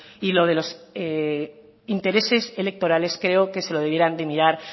y lo de los intereses electorales creo que se lo debieran de mirar